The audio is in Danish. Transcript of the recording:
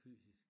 Fysisk